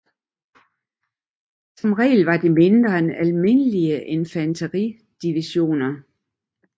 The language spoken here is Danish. Som regel var de mindre end almindelige infanteridivisioner